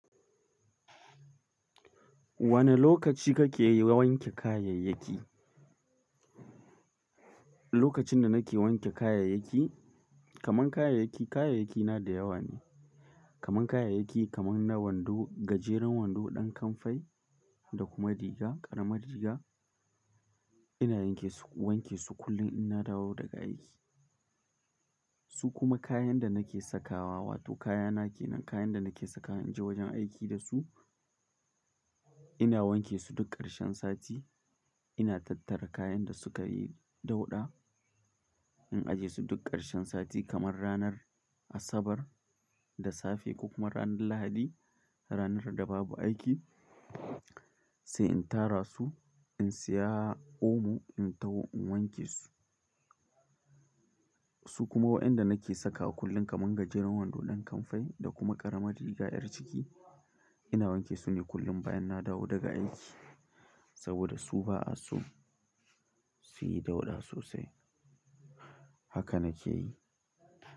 Wane lokaci kake wanke kayayyaki? Lokacin da nake wanke kayayyaki, kaman kayayyaki, kayayyakina da yawa ne. Kaman kayayyaki kaman na wando, gajeren wando, ɗan kamfai, da kuma riga, ƙaramar riga. Ina wanke su, wanke su kullum ina dawo daga aiki. Su kuma kayan da nake sakawa wato kayana ke nan, kayan da nake sakawa in je wajen aiki da su, ina wanke su duk ƙarshen sati. Ina tattara kayan da sukayi dauɗa in ajiye su duk ƙarshen sati kaman ranar Asabar da safe ko kuma ranar Lahadi, ranar da babu aiki sai in tara su, in siya omo in taho in wanke su. Su kuma waɗanda nake sakawa kullum kaman gajeren wando, ɗan kamfai da kuma ƙaramar riga 'yar ciki ina wanke su ne kullum bayan na dawo daga aiki saboda su ba'a so suyi dauɗa sosai. Haka na ke yi.